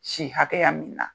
Si hakɛya min na